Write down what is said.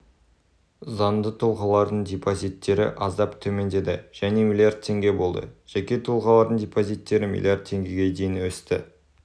заңды тұлғалардың депозиттері аздап төмендеді және млрд теңге болды жеке тұлғалардың депозиттері млрд теңгеге дейін өсті